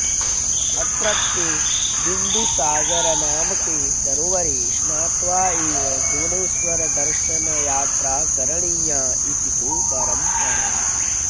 अत्रत्ये बिन्दुसागरनामके सरोवरे स्नात्वा एव भुवनेश्वरदर्शनयात्रा करणीया इति तु परम्परा